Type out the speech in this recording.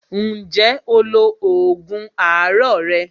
Ǹjẹ́ o lo oògùn àárọ̀ rẹ?